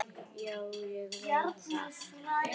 Já, ég veit það.